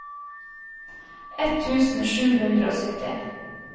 ett tusen sju hundre og sytti